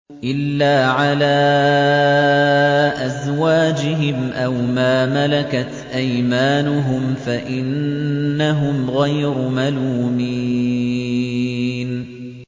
إِلَّا عَلَىٰ أَزْوَاجِهِمْ أَوْ مَا مَلَكَتْ أَيْمَانُهُمْ فَإِنَّهُمْ غَيْرُ مَلُومِينَ